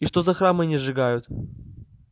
и что за храмы они сжигают